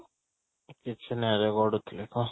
କିଛି ନାଇଁ ରେ ଗଡୁ ଥିଲି, କହ ?